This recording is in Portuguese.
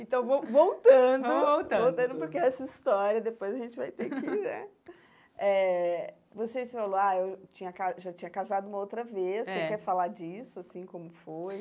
Então, vol voltando, vamos voltando voltando porque essa história depois a gente vai ter que eh... Eh você falou, ah, eu tinha ca já tinha casado uma outra vez, é você quer falar disso, assim, como foi?